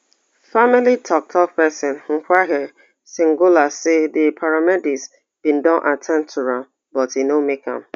family tok tok pesin mzwakhe sinudla say di paramedics bin don at ten d to am but e no make am